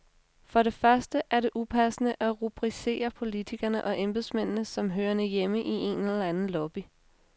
For det første er det upassende at rubricere politikerne og embedsmændene som hørende hjemme i en eller anden lobby.